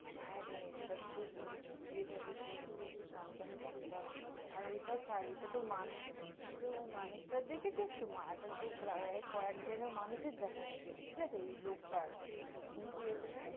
হ্যাঁরে, এটা খুবই এভাবে চলছে একটু সাবধানে থাকতে হবে, আর ওইটা ছাড়, এইটা তহ মানুষ, তুই তহ ওই মানুষটার দেখেছিস তহ, মা~ এখন তহ প্রায় কয়েক জায়গায় মানুষের দেখা গেছে, ঠিক আছে? ওই লোকটার, কিন্তু এটা জানিস